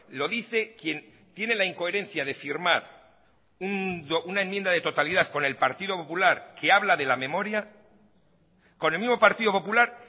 lo dice quien tiene la incoherencia de firmar una enmienda de totalidad con el partido popular que habla de la memoria con el mismo partido popular